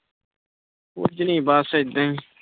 ਕੁਛ ਨੀ ਬਸ ਏਦਾਂ ਹੀ